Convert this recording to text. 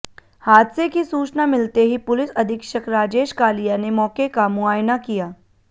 हादसे की सूचना मिलते ही पुलिस अधीक्षक राजेश कालिया ने मौके का मुआयना किया